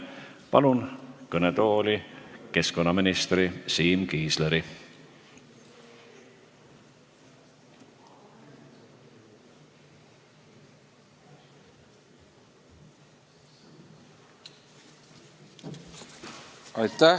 Palun kõnetooli keskkonnaminister Siim Kiisleri!